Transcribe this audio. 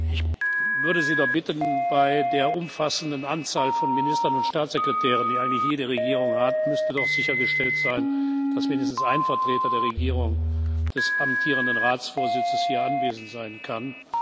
Ich würde Sie doch bitten Bei der umfassenden Anzahl von Ministern und Staatssekretären, die eigentlich jede Regierung hat, müsste doch sichergestellt sein, dass wenigstens ein Vertreter der Regierung des amtierenden Ratsvorsitzes hier anwesend sein kann.